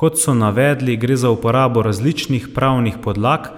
Kot so navedli, gre za uporabo različnih pravnih podlag,